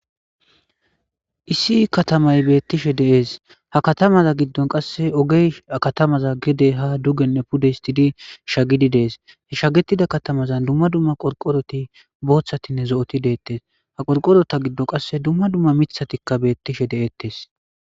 Issi katamay beettishe dees ha katamaza giddon qasse ogey katamaza gide ha dugenne puddestidi shagidi dees he shagetida katamazan dumma dumma qorqoroti booththatinne zo'oti deettes ha qorqorota giddo qasse dumma dumma mithatikka beettishe de'ettes.